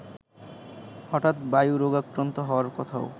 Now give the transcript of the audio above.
হঠাৎ বায়ুরোগাক্রান্ত হওয়ার কথাও